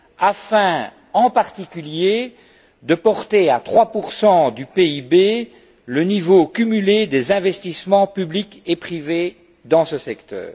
afin en particulier de porter à 3 du PIB le niveau cumulé des investissements publics et privés dans ce secteur.